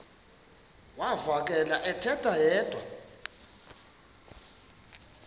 uvakele ethetha yedwa